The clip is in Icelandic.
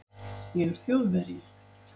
Ég er Þjóðverji!